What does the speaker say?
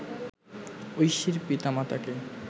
ঐশীর পিতা-মাতাকে